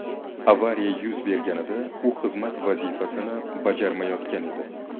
Avariya yuz berganda u xizmat vazifasini bajarmayotgan edi.